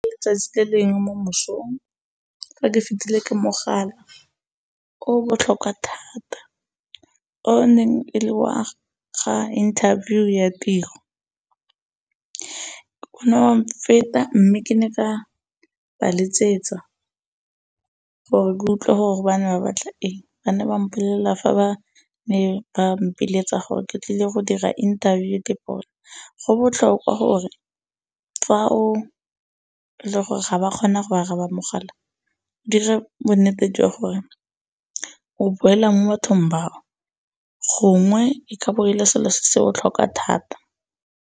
'tsatsi le lengwe mo mosong fa ke fetile ke mogala o o botlhokwa thata o o neng e le wa ga interview ya tiro. O ne wa mfeta mme ke ne ka ba letsetsa gore utlwe gore ba ne ba batla eng. Ba ne ba mpolella fa ba ne ba mpiletsa gore ke tlile go dira interview . Go botlhokwa gore fa o le gore ga wa kgona go araba mogala dira bonnete jwa gore o boela mo bathong bao, gongwe e ka ba e le selo se se botlhokwa thata.